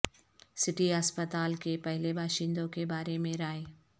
city ہسپتال کے پہلے باشندوں کے بارے میں رائے